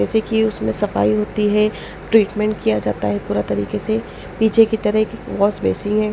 जैसे कि उसमें सफाई होती है ट्रीटमेंट किया जाता है पूरा तरीके से पीछे की तरह एक वॉस बेसिंग है।